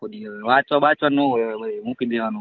વાંચવા બાચવા નુ હોય મૂકી દેવાનું હો .